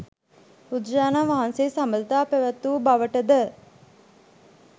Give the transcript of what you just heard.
බුදුරජාණන් වහන්සේ සබඳතා පැවැත් වූ බවට ද